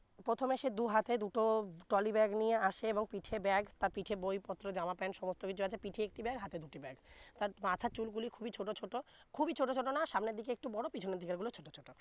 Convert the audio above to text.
প্রথমে সে দু হাতে দুটো trolley ব্যাগ নিয়ে আছে এবং পিঠে ব্যাগ তার পিঠে বই পত্র জামা প্যান্ট সমস্থ কিছু আছে পিঠে একটি ব্যাগ হাতে দুটি ব্যাগ তার মাথার চুল গুলি খুবি ছোট ছোট খুবি ছোট ছোট না সামনের দিকে একটু বড় পিছনের দিকের গুলা ছোট ছোট